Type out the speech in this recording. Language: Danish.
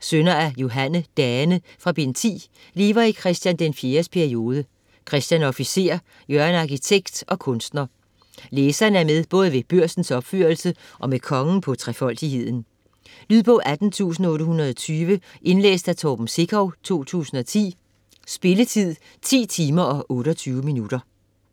sønner af Johanne Dane fra bd. 10, lever i Chr. IV's periode, Christian er officer, Jørgen arkitekt og kunstner. Læserne er med både ved Børsens opførelse og med kongen på 'Trefoldigheden' . Lydbog 18820 Indlæst af Torben Sekov, 2010. Spilletid: 10 timer, 28 minutter.